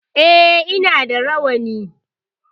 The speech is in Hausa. E, ina da rawani.